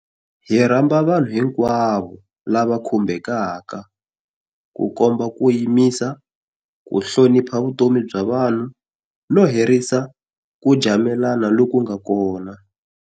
Hi rhamba vanhu hinkwavo lava khumbekaka ku komba ku yimisa, ku hlonipha vutomi bya vanhu, no herisa ku jamelana loku nga kona.